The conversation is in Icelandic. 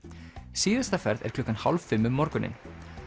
síðasta ferð er klukkan hálf fimm um morguninn